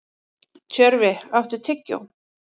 Tjörfi, áttu tyggjó?